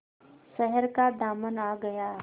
शहर का दामन आ गया